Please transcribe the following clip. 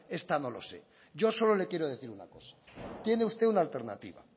esta no lo sé yo solo le quiero decir una cosa tiene usted una alternativa